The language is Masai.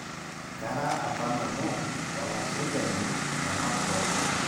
kara apa nanu olasujani le makron